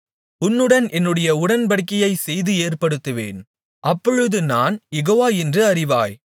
உன்னுடன் என்னுடைய உடன்படிக்கையைசெய்து ஏற்படுத்துவேன் அப்பொழுது நான் யெகோவா என்று அறிவாய்